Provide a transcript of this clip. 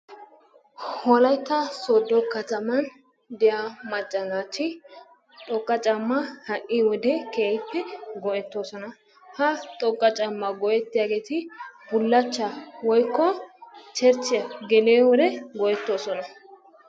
Wolaytta soodo katamman diya macca naati xoqqa caamaa ha'i wode keehippe go'etoososna. Ha xoqqa caamaa go'ettiyaageeti bulachaa woykko cherchiya geliyo wode go'etoosona.